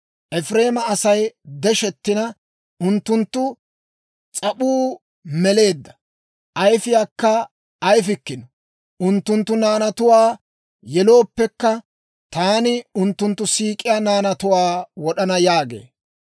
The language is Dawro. Efireema Asay deshettina, unttunttu s'ap'uu meleedda; ayfiyaakka ayifikkino. Unttunttu naanatuwaa yelooppekka, taani unttunttu siik'iyaa naanatuwaa wod'ana» yaagee.